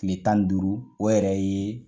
Tile tan ni duuru o yɛrɛ ye